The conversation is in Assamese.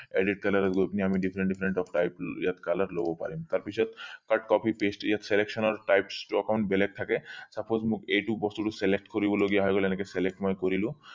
edit color ত গৈ পিনি আমি different different ইয়াক color লব পাৰিম তাৰ পিছত copy paste ইয়াত selection ৰ types টো অলপ বেলেগ থাকে suppose মোক এইটো বস্তুটো select কৰিব লগিয়া হৈ গল এনেকে select মই কৰিলো